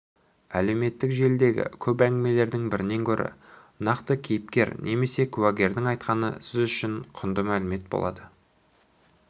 әлеуметтік желідегі көп әңгімелердің бірінен гөрі нақты кейіпкер немесе куәгердің айтқаны сіз үшін құнды мәлімет болады